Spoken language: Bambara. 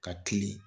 Ka kili